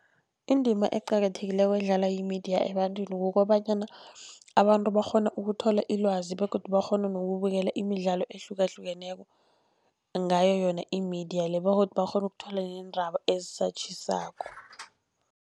Indima eqakathekileko edlalwa yimediya ebantwini, kukobanyana abantu bakghona ukuthola ilwazi begodu bakghone nokubukela imidlalo ehlukahlukeneko ngayo yona imediya le begodu bakghone ukuthola neendaba ezisatjhisako.